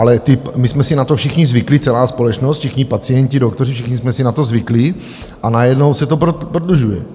Ale my jsme si na to všichni zvykli, celá společnost, všichni pacienti, doktoři, všichni jsme si na to zvykli, a najednou se to prodlužuje.